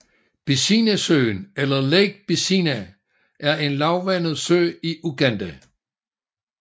Bisinasøen eller Lake Bisina er en lavvandet sø i Uganda